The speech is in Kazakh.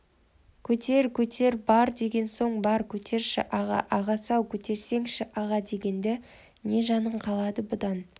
көтер көтер бар деген соң бар көтерші аға ағасы-ау көтерсеңші аға дегеңде не жаның қалды бұдан